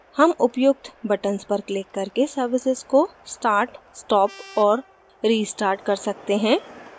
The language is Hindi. हम उपयुक्त buttons पर क्लिक करके services को start stop और restart कर सकते हैं